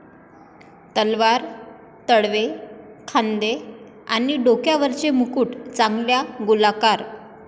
तलवार, तळवे, खांदे, आणि डोक्यावरचे मुकुट चांगल्या गोलाकार